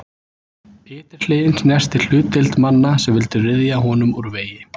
Ytri hliðin snertir hlutdeild manna sem vildu ryðja honum úr vegi.